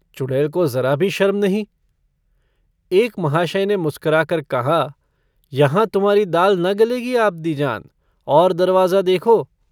चुडै़ल को ज़रा भी शर्म नहीं। एक महाशय ने मुस्कराकर कहा - यहाँ तुम्हारी दाल न गलेगी आबदीजान, और दरवाज़ा देखो।